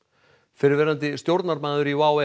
fyrrverandi stjórnarmaður í WOW